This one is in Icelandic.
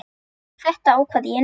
Þetta ákvað ég í nótt.